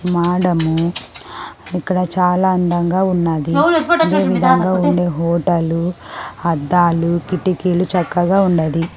మాడము ఇక్కడ చాలా అందంగా ఉన్నది ఈ విధంగా ఉండే హోటలు హద్దాలు కిటికీలు చక్కగా ఉన్నది.